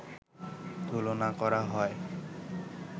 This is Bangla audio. তুলনা করা হয়